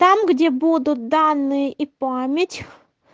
там где будут данные и память